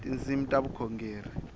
tinsimu ta vukhongeri